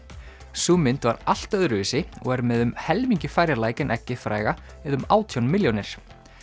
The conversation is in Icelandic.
sú mynd var allt öðruvísi og er með um helmingi færri læk en eggið fræga eða um átján milljónir